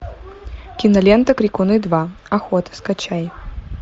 кинолента крикуны два охота скачай